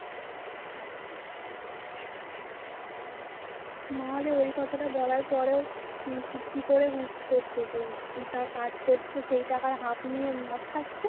ই কথাটা বলার পরেও কি করে তা কাজ করছে সেই টাকার half নিয়ে মদ খাচ্ছে.